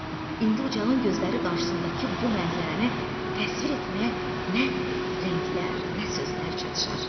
İndi Ucalın gözləri qarşısındakı bu mənzərəni təsvir etməyə nə rənglər, nə sözlər çatışar.